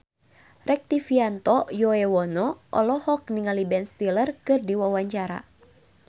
Rektivianto Yoewono olohok ningali Ben Stiller keur diwawancara